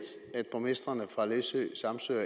at borgmestrene fra læsø samsø og